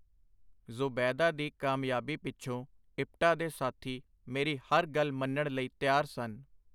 ਜ਼ੁਬੈਦਾ ਦੀ ਕਾਮਯਾਬੀ ਪਿਛੋਂ ਇਪਟਾ ਦੇ ਸਾਥੀ ਮੇਰੀ ਹਰ ਗੱਲ ਮੰਨਣ ਲਈ ਤਿਆਰ ਸਨ.